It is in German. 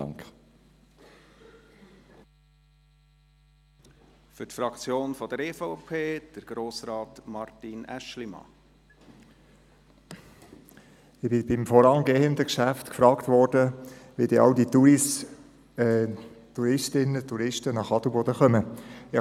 Ich wurde beim vorangehenden Geschäft gefragt, wie denn all diese Touristinnen und Touristen nach Adelboden gelangen würden.